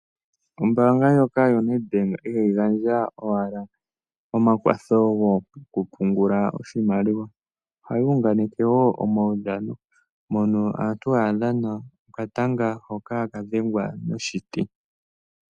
Ombaanga ndjoka yaNedbank ihayi gandja owala omakwatho goku pungula oshimaliwa, ohayi unganeke wo omawudhano moka aantu haya dhana okatanga hoka haka dhengwa noshiti.